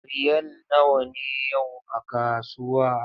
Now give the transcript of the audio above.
Riyal nawa ne yau a kasuwa?